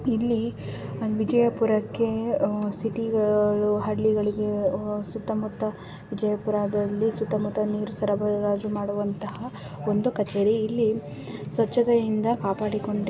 ಇಲ್ಲಿ ಅಹ್ ವಿಜಯಪುರಕ್ಕೆ ಉಹ್ ಸಿಟಿ ಗಳು ಹಳ್ಳಿಗಳಿಗೆ ಹೊ ಸುತ್ತಮುತ್ತ ವಿಜಯಪುರದಲ್ಲಿ ಸುತ್ತಮುತ್ತ ನೀರು ಸರಬರಾಜು ಮಾಡುವಂತಹ ಒಂದು ಕಚೇರಿ. ಇಲ್ಲಿ ಸ್ವಚ್ಛತೆಯಿಂದ ಕಾಪಾಡಿಕೊಂಡಿ--